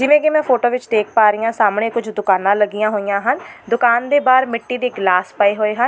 ਜਿਵੇਂ ਕਿ ਮੈਂ ਫ਼ੋਟੋ ਵਿੱਚ ਦੇਖ ਪਾ ਰਹੀ ਆਂ ਸਾਹਮਣੇ ਕੁਝ ਦੁਕਾਨਾਂ ਲੱਗੀਆਂ ਹੋਈਆਂ ਹਨ ਦੁਕਾਨ ਦੇ ਬਾਹਰ ਮਿੱਟੀ ਦੇ ਗਿਲਾਸ ਪਏ ਹੋਏ ਹਨ।